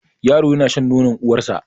Yaron yana shan nonor uwar sa